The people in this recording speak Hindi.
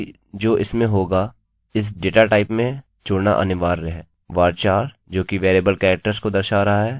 varchar जोकि variable characters को दर्शा रहा है काफी सामान्य है यह काफी लाभदायक है और इसको लम्बाईlengthकी आवश्यकता है